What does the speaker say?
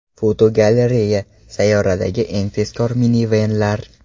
Fotogalereya: Sayyoradagi eng tezkor minivenlar.